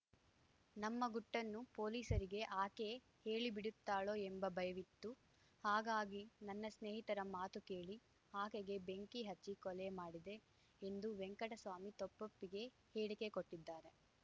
ನಮ್ಮ ಗುಟ್ಟನ್ನು ಪೊಲೀಸರಿಗೆ ಆಕೆ ಹೇಳಿ ಬಿಡುತ್ತಾಳೋ ಎಂಬ ಭಯವಿತ್ತು ಹಾಗಾಗಿ ನನ್ನ ಸ್ನೇಹಿತರ ಮಾತು ಕೇಳಿ ಆಕೆಗೆ ಬೆಂಕಿ ಹಚ್ಚಿ ಕೊಲೆ ಮಾಡಿದೆ ಎಂದು ವೆಂಕಟಸ್ವಾಮಿ ತಪ್ಪೊಪ್ಪಿಗೆ ಹೇಳಿಕೆ ಕೊಟ್ಟಿದ್ದಾರೆ